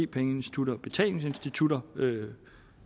pengeinstitutter og betalingsinstitutter øges